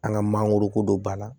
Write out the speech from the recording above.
An ka mangoroko don bana